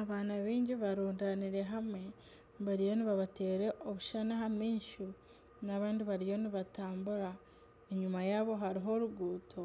Abaana baingi barundiine hamwe bariyo nibateera obushushani aha maisho, n'abandi bariyo nibatambura. Enyima yaabo hariho oruguuto